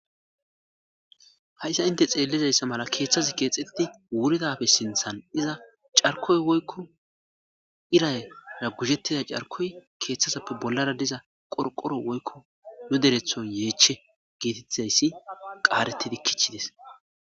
hayssa inte xeellizayssa mala keeththazi keexxetiti wuridafe sinthan iza carkoy woykko irayra guhettida carkoy keeththazappe bollara diza qorqoro woykko nu deretho yeeche geetettizayssi qaaretidi kichides